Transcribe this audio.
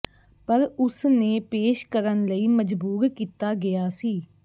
ਪਰ ਉਸ ਨੇ ਪੇਸ਼ ਕਰਨ ਲਈ ਮਜਬੂਰ ਕੀਤਾ ਗਿਆ ਸੀ